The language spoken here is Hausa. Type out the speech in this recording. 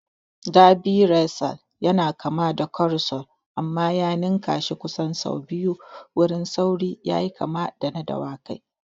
Derby Racer yana kama da Carousel amma ya ninnkashi kusan sau biyu wurin sauri yayi kama da na dawakai.